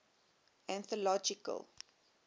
anthological